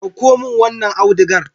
Ɗauko min wanon audigar.